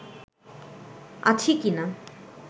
আছি কিনা